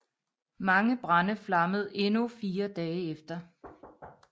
Mange brande flammede endnu fire dage efter